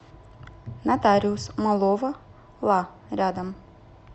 нотариус малова ла рядом